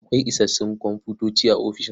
Akwai isassun komfutoci a ofishin?